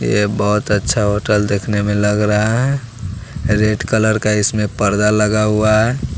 ये बहुत अच्छा होटल देखने में लग रहा है रेड कलर का इसमें पर्दा लगा हुआ है।